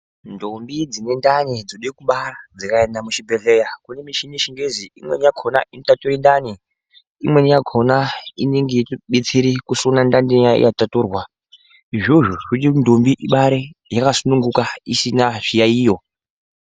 Ndombi dzine ndani dzode kubara dzikaenda muchibhedhleya kune mishini yechingezi imweni yakhona inotature ndani imweni yakhona inobetsera kusona ndani inenge yataturwa izvozvo zvinoita kuti ndombi ibare yakasununguka isina zviyayiyo.